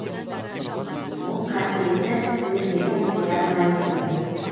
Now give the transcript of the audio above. бұл қасиеті өзгере қояр ма екен